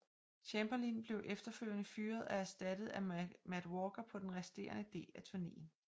Chamberlin blev efterfølgende fyret og erstattet af Matt Walker på den resterende del af turnéen